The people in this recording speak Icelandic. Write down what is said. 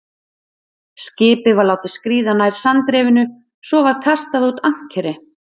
Skipið var látið skríða nær sandrifinu, svo var kastað út ankeri.